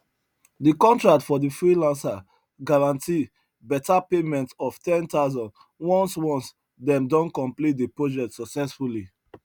the contract for the freelancer guarantee beta payment of 10000 once once dem don complete the project successfully